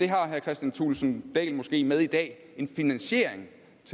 har herre kristian thulesen dahl måske med i dag en finansiering